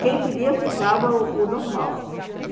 Quem queria ficava o o normal.